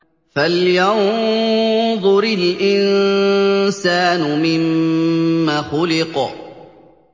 فَلْيَنظُرِ الْإِنسَانُ مِمَّ خُلِقَ